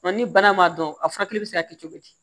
Nka ni bana ma dɔn a furakɛli bɛ se ka kɛ cogo di